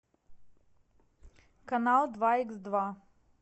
канал два икс два